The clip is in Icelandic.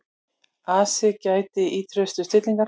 Ari gætti ýtrustu stillingar.